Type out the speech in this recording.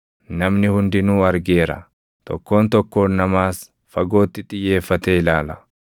Namni hundinuu argeera; tokkoon tokkoon namaas fagootti xiyyeeffatee ilaala.